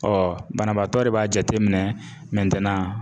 banabaatɔ de b'a jateminɛ